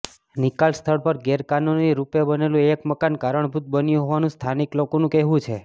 નિકાલ સ્થળ પર ગેરકાનૂની રૃપેબનેલું એક મકાન કારણભૂત બન્યું હોવાનું સ્થાનિક લોકોનું કહેવું છે